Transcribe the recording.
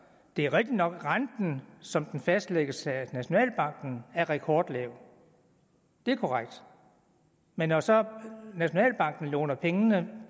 det er rigtigt nok at renten som den fastlægges af nationalbanken er rekordlav det er korrekt men når så nationalbanken låner pengene